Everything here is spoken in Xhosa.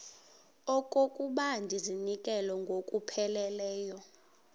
okokuba ndizinikele ngokupheleleyo